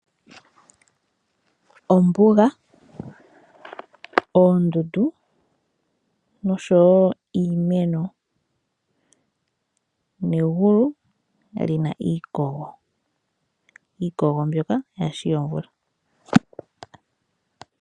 Ombuga, oondundu noshowo iimeno, negulu li na iikogo yaa shi yomvula